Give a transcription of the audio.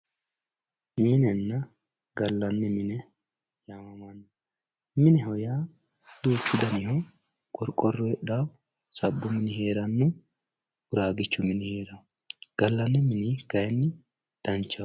minenna gallanni mine yaamamanno mineho yaa duuchu daniho qorqorro heedhawoo sabbu mini heeranno uraagichu mini heerawoo gallanni mini kayni danchaho.